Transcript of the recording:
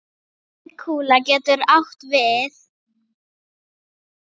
Auðkúla getur átt við